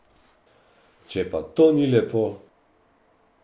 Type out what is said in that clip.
Če pa to ni lepo?